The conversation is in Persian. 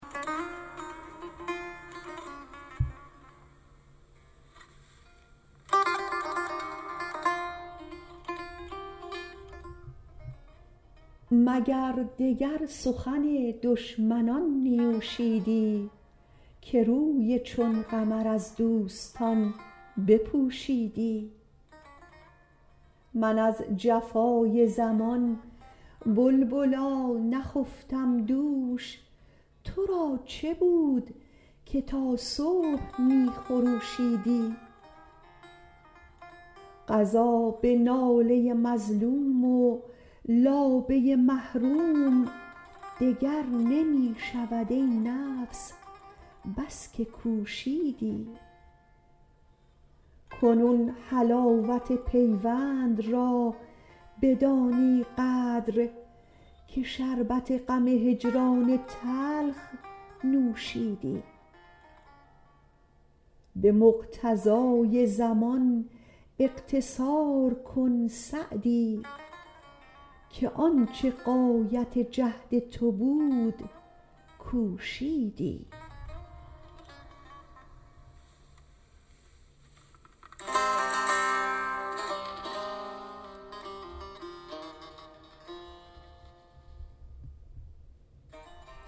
مگر دگر سخن دشمنان نیوشیدی که روی چون قمر از دوستان بپوشیدی من از جفای زمان بلبلا نخفتم دوش تو را چه بود که تا صبح می خروشیدی قضا به ناله مظلوم و لابه محروم دگر نمی شود ای نفس بس که کوشیدی کنون حلاوت پیوند را بدانی قدر که شربت غم هجران تلخ نوشیدی به مقتضای زمان اقتصار کن سعدی که آن چه غایت جهد تو بود کوشیدی